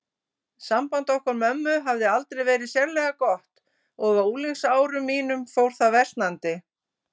Samband okkar mömmu hafði aldrei verið sérlega gott og á unglingsárum mínum fór það versnandi.